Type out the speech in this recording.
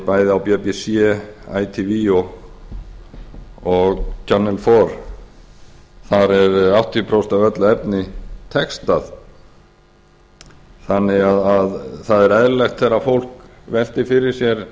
bæði á bbc átt og and áður þar er áttatíu prósent af öllu efni textað þannig að það er eðlilegt þegar fólk veltir fyrir sér